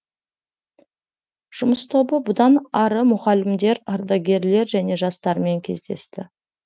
жұмыс тобы бұдан ары мұғалімдер ардагерлер және жастармен кездесті